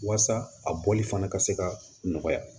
Waasa a bɔli fana ka se ka nɔgɔya